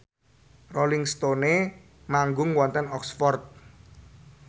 Rolling Stone manggung wonten Oxford